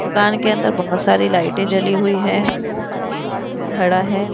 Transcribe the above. दुकान के अंदर बहुत सारी लाइटें जली हुई है एक आदमी खड़ा है।